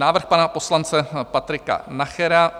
Návrh pana poslance Patrika Nachera...